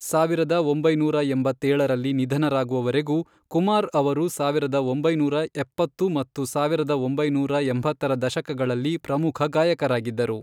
ಸಾವಿರದ ಒಂಬೈನೂರ ಎಂಬತ್ತೇಳರಲ್ಲಿ ನಿಧನರಾಗುವವರೆಗೂ, ಕುಮಾರ್ ಅವರು ಸಾವಿರದ ಒಂಬೈನೂರ ಎಪ್ಪತ್ತು ಮತ್ತು ಸಾವಿರದ ಒಂಬೈನೂರ ಎಂಬತ್ತರ ದಶಕಗಳಲ್ಲಿ ಪ್ರಮುಖ ಗಾಯಕರಾಗಿದ್ದರು.